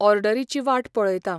ऑर्डरीची वाट पळयता.